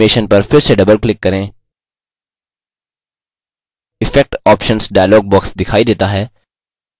इस animation पर फिर से doubleclick करें effect options dialog box दिखाई देता है